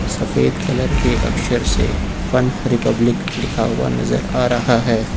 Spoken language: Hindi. सफेद कलर के अक्षर से फन रिपब्लिक लिखा हुआ नजर आ रहा है।